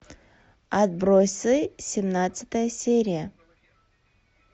отбросы семнадцатая серия